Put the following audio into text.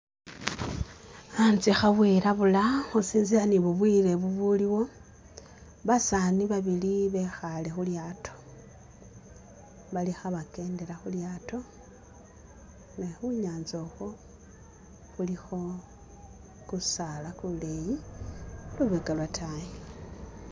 Anzye khabwilabula khusinzila ni bubwile bubuliwo ,basaani babili bekhale khu'lyaato bali khabekendela khu'lyaato ,ne khunyanza okhwo khulikho kusaala kuleyi lubeka lwotayi